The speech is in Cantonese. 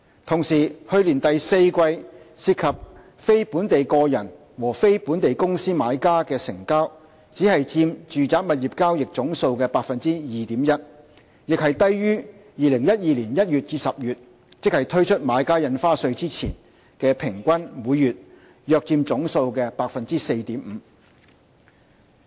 同時，去年第四季涉及非本地個人和非本地公司買家的成交只佔住宅物業交易總數的 2.1%， 亦低於2012年1月至10月，即推出買家印花稅前的數字，即平均每月約佔總數的 4.5%。